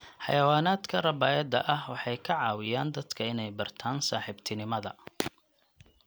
Xayawaanaadka rabaayada ah waxay ka caawiyaan dadka inay bartaan saaxiibtinimada.